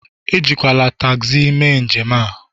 Ejikwala tagzi mee njem a